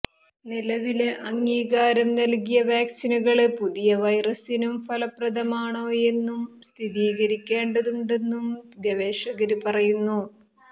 നിലവില് അംഗീകാരം നല്കിയ വാക്സിനുകള് പുതിയ വൈറസിനും ഫലപ്രദമാണോയെന്നും സ്ഥിരീകരിക്കേണ്ടതുണ്ടെന്നും ഗവേഷകര് പറയുന്നു